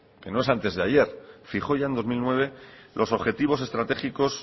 que no es antes de ayer fijó ya en dos mil nueve los objetivos estratégicos